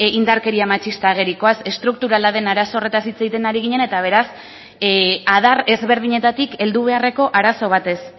indarkeria matxista agerikoaz estrukturala den arazo horretaz hitz egiten ari ginen eta beraz adar desberdinetatik heldu beharreko arazo batez